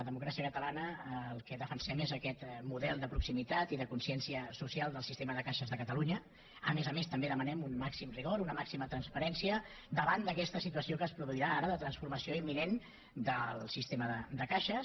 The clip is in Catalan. democràcia catalana el que defensem és aquest model de proximitat i de consciència social del sistema de caixes de catalunya a més a més també demanem un màxim rigor una màxima transparència davant d’a questa situació que es produirà ara de transformació imminent del sistema de caixes